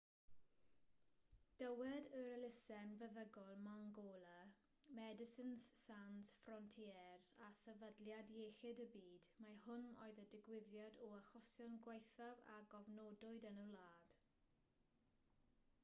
dywed yr elusen feddygol mangola medecines sans frontieres a sefydliad iechyd y byd mai hwn oedd y digwyddiad o achosion gwaethaf a gofnodwyd yn y wlad